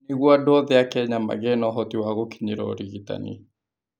Nĩguo andũ othe a Kenya magĩe na ũhoti wa gũkinyĩra ũrigitani.